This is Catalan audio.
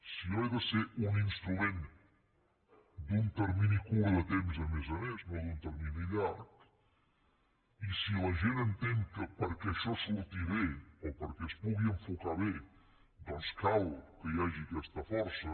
si jo he de ser un instrument d’un termini curt de temps a més a més no d’un termini llarg i si la gent entén que perquè això surti bé o perquè es pugui enfocar bé doncs cal que hi hagi aquesta força